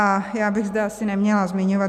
A já bych zde asi neměla zmiňovat.